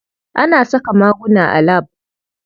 Ana saka maguna a lab.